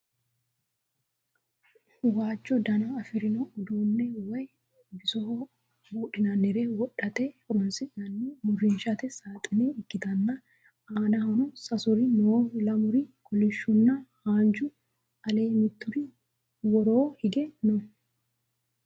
Waajjo dana afirino uduunne woyi bisoho buudhinannire wodhate horonsi'nanni uurrinshate saaxine ikkitanna aanahono sasuri no lamuri kolishshuna haanju aleee mitturi woroo hige no